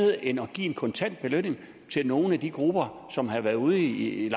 end at give en kontant belønning til nogle af de grupper som har været ude i